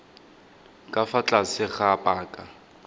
ka fa tlase ga paka